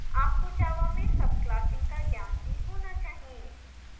आपको java में subclassing का ज्ञान भी होना चाहिए